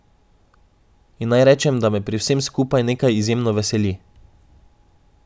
In naj rečem, da me pri vsem skupaj nekaj izjemno veseli.